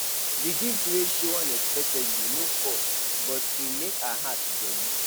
the gift wey show unexpectedly no cost but e make her heart jolly